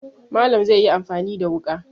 Malam zai yi amfani da wuƙa.